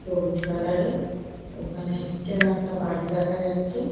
সবুজ কালার -এর ওখানে পিছনে একটা বাড়ি দেখা যাচ্ছে।